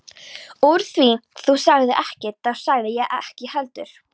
Úr því þú sagðir ekkert þá sagði ég ekkert heldur.